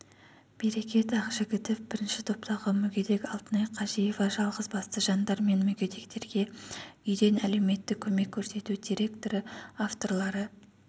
берекет ақжігітов і-топтағы мүгедек алтынай қожиева жалғызбасты жандар мен мүгедектерге үйден әлеуметтік көмек көрсету директоры авторлары